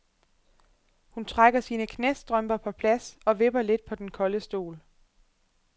Hun trækker sine knæstrømper på plads og vipper lidt på den kolde stol.